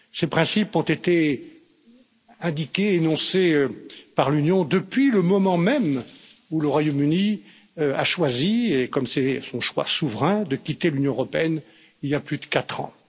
Ces principes ont été indiqués et énoncés par l'Union depuis le moment même où le Royaume Uni a choisi comme c'est son choix souverain de quitter l'Union européenne, il y a plus de 4 ans.